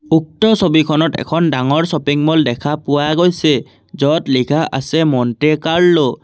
উক্ত ছবিখনত এখন ডাঙৰ শ্বপিং মল দেখা পোৱা গৈছে য'ত লিখা আছে মন্টে কাৰ্লো ।